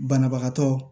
Banabagatɔ